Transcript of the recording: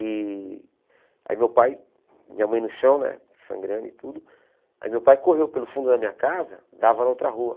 E aí meu pai, minha mãe no chão né, sangrando e tudo, aí meu pai correu pelo fundo da minha casa, dava na outra rua.